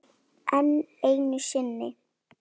Enn einu sinni.